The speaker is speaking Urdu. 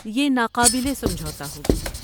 یہ ناقابل سمجھوتہ ہوگی۔